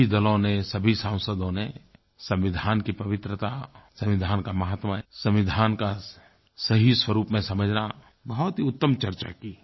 सभी दलों ने सभी सांसदों ने संविधान की पवित्रता संविधान का महत्व संविधान को सही स्वरुप में समझना बहुत ही उत्तम चर्चा की